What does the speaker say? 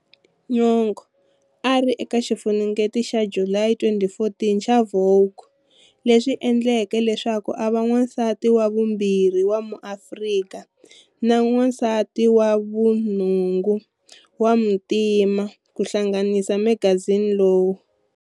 Nyong'o a ri eka xifunengeto xa July 2014 xa"Vogue", leswi endleke leswaku a va wansati wa vumbirhi wa muAfrika na wansati wa vunhungu wa muntima ku hlanganisa magazini lowu.